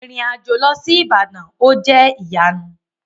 Irin-ajo lọ si Ibadan, o jẹ iyanu.